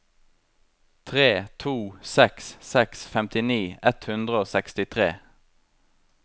tre to seks seks femtini ett hundre og sekstitre